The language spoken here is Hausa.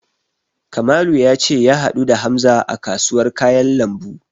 Kamalu ya ce ya haɗu da Hamza a kasuwar kayan lambu.